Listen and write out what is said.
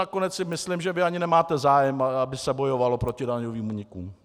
Nakonec si myslím, že vy ani nemáte zájem, aby se bojovalo proti daňovým únikům.